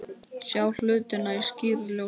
Sjá hlutina í skýru ljósi.